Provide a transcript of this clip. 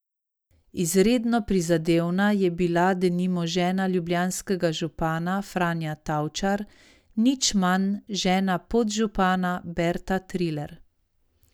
Izredno prizadevna je bila denimo žena ljubljanskega župana Franja Tavčar, nič manj žena podžupana Berta Triler.